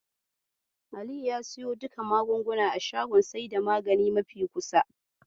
Aliyu ya siyo duka magungunana shagon saida magani mafi kusa.